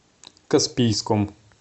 каспийском